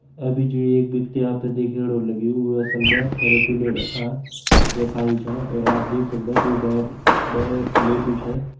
अभी जू एक व्यक्ति आप तैं दिखेण हों लग्युं वो असल म थेरिपी लेणाका यख आईं छा और आप देख सकदा है कि बेड में लेट्यूं छ।